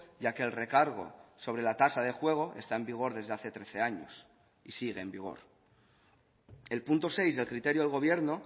ya que el recargo sobre la tasa de juego está en vigor desde hace trece años y sigue en vigor el punto seis del criterio del gobierno